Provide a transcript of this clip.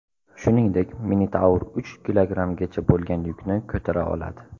Shuningdek, Minitaur uch kilogrammgacha bo‘lgan yukni ko‘tara oladi.